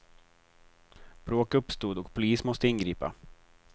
Bråk uppstod och polis måste ingripa.